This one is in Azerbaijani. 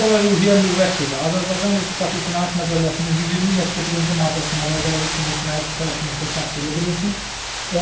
Tahirova Ruhiyyə Mürvət qızı Azərbaycan Respublikası Cinayət Məcəlləsinin 120.1-ci maddəsində nəzərdə tutulmuş cinayət əməlini təqsirli bilinsin.